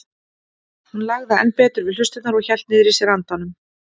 Hún lagði enn betur við hlustirnar og hélt niðri í sér andanum.